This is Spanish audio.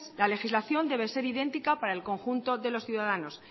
la legislación debe ser idéntica para el conjunto de los ciudadanos